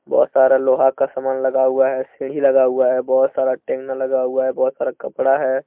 बहुत सारा लोहा का सामान लगा हुआ है सीढ़ी लगा हुआ है बहुत सारा टेंट लगा हुआ है बहुत सारा कपड़ा है।